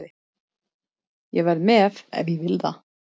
Ég verð með ef ég vil það.